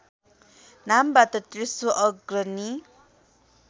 नामबाट तेस्रो अग्रणी